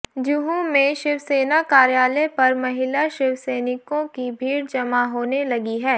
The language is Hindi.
जुहू में शिवसेना कार्यालय पर महिला शिवसैनिकों की भीड़ जमा होने लगी है